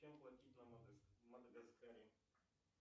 чем платить на мадагаскаре